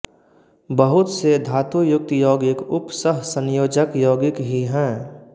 बहुत से धातुयुक्त यौगिक उपसहसंयोजक यौगिक ही हैं